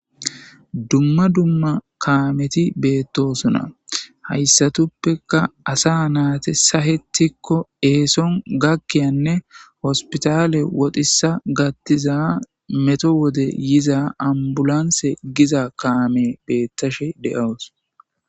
Dumma dumma kaameti beetosona haysatuppeka asa naatas sahetiko eeson gakiyanne hospitaale wotissa gattiza meto woden yiza ambulanse giza kaame beetishe de'awus.